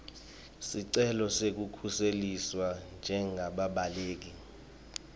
sicelo sekukhuseliswa njengebabaleki